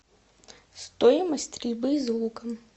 стоимость стрельбы из лука